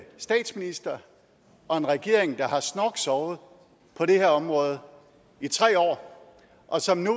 statsminister og en regering der har snorksovet på det her område i tre år og som nu